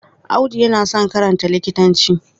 Audu yana son karanta likitanci.